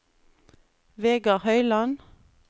Vegard Høiland